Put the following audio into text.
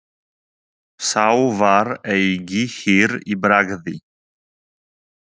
Sá var eigi hýr í bragði.